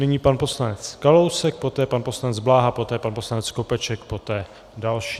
Nyní pan poslanec Kalousek, poté pan poslanec Bláha, poté pan poslanec Skopeček, poté další.